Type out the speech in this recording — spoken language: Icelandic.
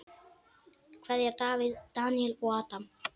Kveðja: Davíð, Daníel og Adam.